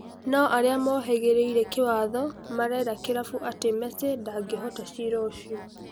No-aria mohĩgĩrĩire kĩwatho marera kĩrabu atĩ Mesi ndangĩhoota cira ũcio.